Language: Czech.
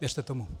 Věřte tomu.